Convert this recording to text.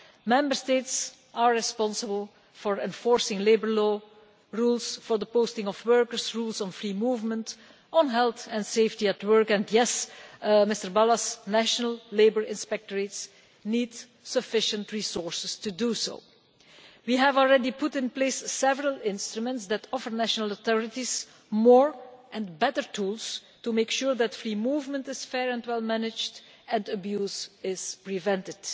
Member States are responsible for enforcing labour law, rules for the posting of workers, rules on free movement and on health and safety at work, and yes, Mr Balas national labour inspectorates need sufficient resources to do that. We have already put in place several instruments that offer national authorities more and better tools to make sure that free movement is fair and well managed and that abuse is prevented.